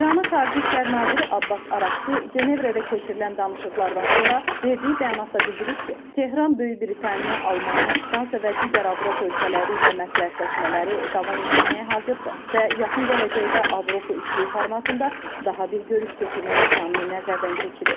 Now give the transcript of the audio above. İranın xarici İşlər naziri Abbas Araqçı Cenevrədə keçirilən danışıqlardan sonra verdiyi bəyanatda bildirib ki, Tehran Böyük Britaniya, Almaniya, Fransa və digər Avropa ölkələri ilə məsləhətləşmələri davam etdirməyə hazırdır və yaxın gələcəkdə Avropa üçlüyü formatında daha bir görüş keçirmək imkanını nəzərdən keçirir.